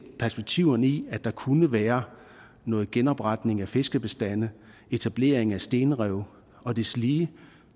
perspektiverne i at der kunne være noget genopretning af fiskebestande etablering af stenrev og deslige